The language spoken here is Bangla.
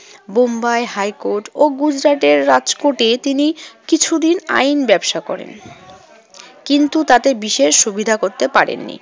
বোম্বাই হাইকোর্ট ও গুজরাটের রাজকোর্টে তিনি কিছুদিন আইন ব্যবসা করেন। কিন্তু তাতে বিশেষ সুবিধা করতে পারেননি।